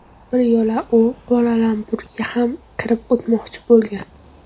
Bir yo‘la u Kuala-Lumpurga ham kirib o‘tmoqchi bo‘lgan.